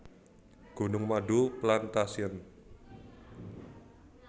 Gunung Madu Plantation